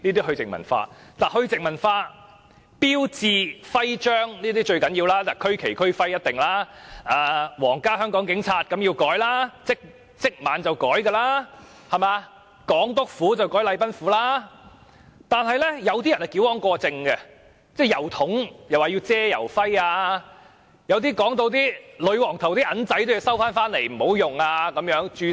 "去殖民化"的修訂中，修改標誌和徽章最重要，修改區旗和區徽更是必定要做，"皇家香港警察"也改名，而且是回歸當晚便改；"港督府"改為"禮賓府"，但是，有些人則矯枉過正，指郵筒要遮蓋郵徽；有些人更說女皇頭像的硬幣要收回及停用，需要註銷。